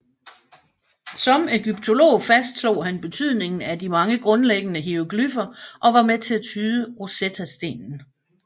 Som ægyptolog fastslog han betydningen af mange grundlæggende hieroglyffer og var med til at tyde Rosettestenen